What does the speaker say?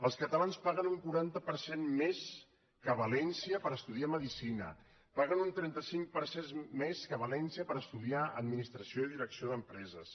els catalans paguen un quaranta per cent més que a valència per estudiar medicina paguen un trenta cinc per cent més que a valència per estudiar adminis·tració i direcció d’empreses